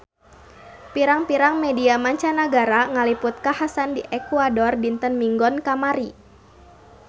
Pirang-pirang media mancanagara ngaliput kakhasan di Ekuador dinten Minggon kamari